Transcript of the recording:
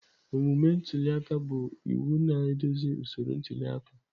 Omume ntuli aka bụ iwu na-eduzi usoro ntuli aka.